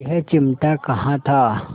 यह चिमटा कहाँ था